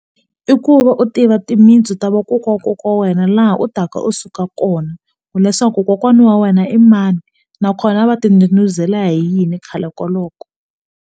I ku va u tiva timintsu ta vakokwa wa kokwa wena laha u taka u suka kona hileswaku kokwana wa wena i mani nakona va ti ndhudhuzela hi yini khale koloko.